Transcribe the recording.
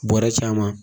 Bɔrɛ caman